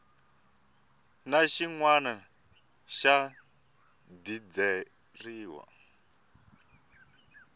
na xin wana xa dizeriwa